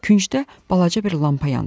Küncdə balaca bir lampa yandırdılar.